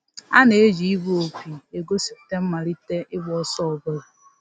A na-eji igbu opi egosipụta mmalite ịgba ọsọ ọbụla